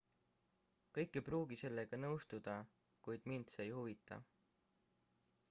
kõik ei pruugi sellega nõustuda kuid mind see ei huvita